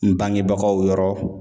N bangebagaw yɔrɔ